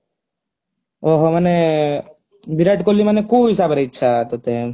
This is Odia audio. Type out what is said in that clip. ଓହୋ ମାନେ ବିରାଟ କୋହଲି ମାନେ କୋଉ ହିସାବରେ ଇଚ୍ଛା ତତେ